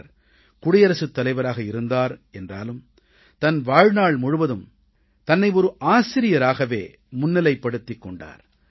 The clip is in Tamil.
அவர் குடியரசுத் தலைவராக இருந்தார் என்றாலும் தன் வாழ்நாள் முழுவதும் தன்னை ஒரு ஆசிரியராகவே முன்னிலைப்படுத்திக் கொண்டார்